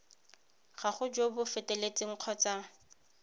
gago jo bo feteletseng kgotsa